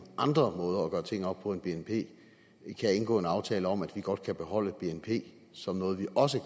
andre måder at gøre ting op på end via bnp kan indgå en aftale om at vi godt kan beholde bnp som noget vi også